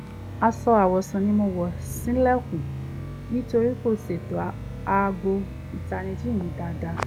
aṣọ awọ̀sùn ni mo wọ̀ ṣílẹ̀kùn nítorí n kò ṣètò aago ìtanijí mi dáadáa